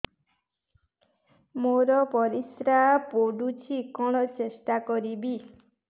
ମୋର ପରିସ୍ରା ପୋଡୁଛି କଣ ଟେଷ୍ଟ କରିବି